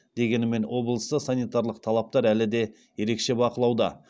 дегенімен облыста санитарлық талаптар әлі де ерекше бақылауда